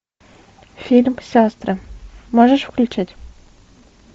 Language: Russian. фильм сестры можешь включить